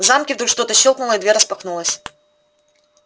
в замке вдруг что-то щёлкнуло и дверь распахнулась